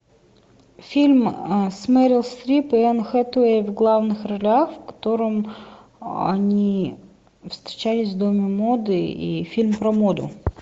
фильм с мерил стрип и энн хэтэуэй в главных ролях в котором они встречались в доме моды и фильм про моду